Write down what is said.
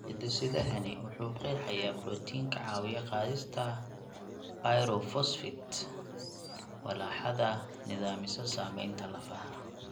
Hidde-sidahani waxa uu qeexayaa borotiin ka caawiya qaadista pyrophosphate (walaxda nidaamisa samaynta lafaha).